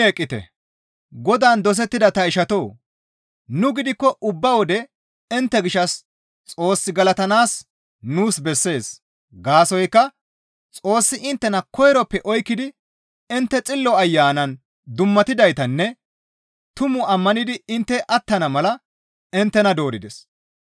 Godaan dosettida ta ishatoo! Nu gidikko ubba wode intte gishshas Xoos galatanaas nuus bessees; gaasoykka Xoossi inttena koyroppe oykkidi intte Xillo Ayanan dummatidaytanne tumu ammanidi intte attana mala inttena doorides.